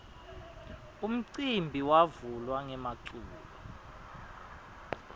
umcimbi wavula ngemaculo